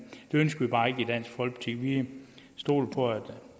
det ønsker vi bare ikke i dansk folkeparti vi stoler på